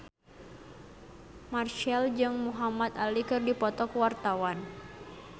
Marchell jeung Muhamad Ali keur dipoto ku wartawan